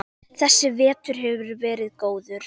Þessi vetur hefur verið góður.